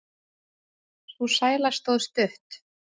Sú sæla stóð stutt.